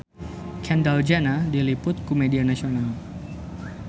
Kendall Jenner diliput ku media nasional